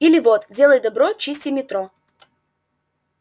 или вот делай добро чисти метро